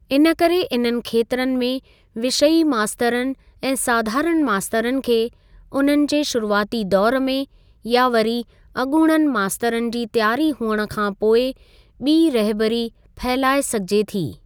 इनकरे इननि खेत्रनि में विषयी मास्तरनि ऐं साधारण मास्तरनि खे उन्हनि जे शुरूआती दौर में या वरी अॻुणनि मास्तरनि जी त्यारी हुअण खां पोइ ॿीं रहिबरी फहिलाए सघिजे थी।